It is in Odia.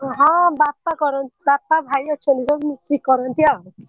ହଁ ବାପା କରନ୍ତି ବାପା ଭାଇ ଅଛନ୍ତି ସବୁ ମିଶିକି କରନ୍ତି ଆଉ।